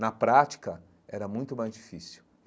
Na prática, era muito mais difícil.